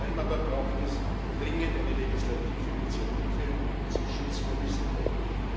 Vor allem aber braucht es dringend eine Legislativinitiative zum Schutz von Whistleblowern